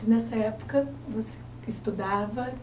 E nessa época, você estudava?